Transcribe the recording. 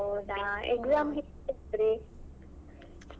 ಹೌದಾ exam ಹೇಗ್ ?